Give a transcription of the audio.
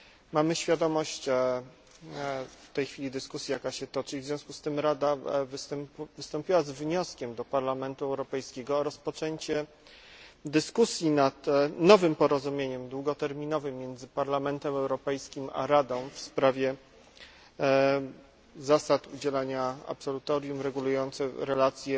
Mamy świadomość w tej chwili dyskusji, jaka się toczy, i w związku tym Rada wystąpiła z wnioskiem do Parlamentu Europejskiego o rozpoczęcie dyskusji nad nowym porozumieniem długoterminowym między Parlamentem Europejskim a Radą w sprawie zasad udzielania absolutorium regulujących relacje